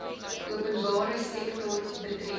openbare sektor betree